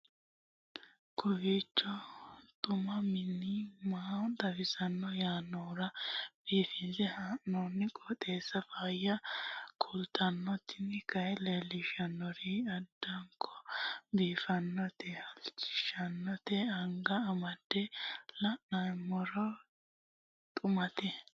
kowiicho xuma mtini maa xawissanno yaannohura biifinse haa'noonniti qooxeessano faayya kultanno tini kayi leellishshannori addanko biiffannote halchishshannote anga amande la'noommero xumate